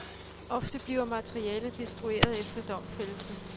Ofte bliver materialet destrueret efter domfældelse.